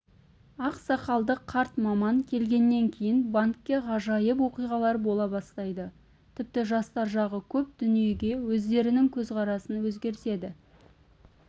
ақ сақалды қарт маман келгеннен кейін банкте ғажайып оқиғалар бола бастайды тіпті жастар жағы көп дүниеге өздерінің көзқарасын өзгертеді